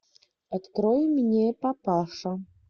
открой мне папаша